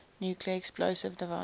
nuclear explosive devices